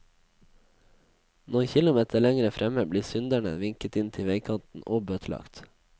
Noen kilometer lenger fremme blir synderne vinket inn til veikanten og bøtelagt.